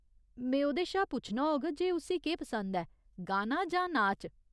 में ओह्‌दे शा पुच्छना होग जे उस्सी केह् पसंद ऐ, गाना जां नाच।